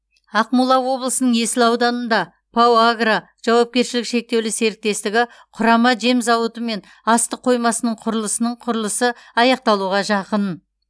ақмола облысының есіл ауданында рау агро жауапкершілігі шектеулі серіктестігі құрама жем зауыты мен астық қоймасының құрылысының құрылысы аяқталуға жақын